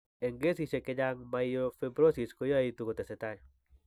Eng' kesisiek chechang', myelofibrosis koyaitu kotesetai.